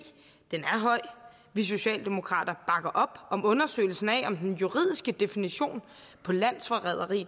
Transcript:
er høj vi socialdemokrater bakker op om undersøgelsen af om den juridiske definition på landsforræderi